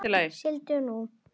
Sigldu nú.